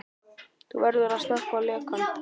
Þú verður að stöðva lekann.